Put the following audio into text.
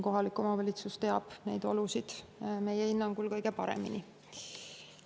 Kohalik omavalitsus teab neid olusid meie hinnangul kõige paremini.